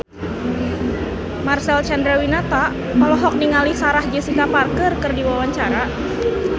Marcel Chandrawinata olohok ningali Sarah Jessica Parker keur diwawancara